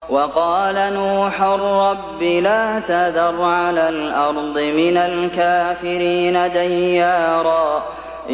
وَقَالَ نُوحٌ رَّبِّ لَا تَذَرْ عَلَى الْأَرْضِ مِنَ الْكَافِرِينَ دَيَّارًا